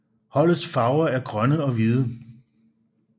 Holdets farver er grønne og hvide